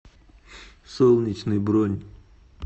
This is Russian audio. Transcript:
солнечный бронь